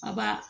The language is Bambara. A ba